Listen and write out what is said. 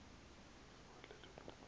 sibale loo mali